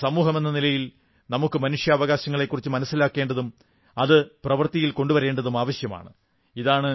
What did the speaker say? ഒരു സമൂഹമെന്ന നിലയിൽ നമുക്ക് മനുഷ്യാവകാശങ്ങളെക്കുറിച്ച് മനസ്സിലാക്കേണ്ടതും അത് പ്രവർത്തിയിൽ കൊണ്ടുവരേണ്ടതും ആവശ്യമാണ്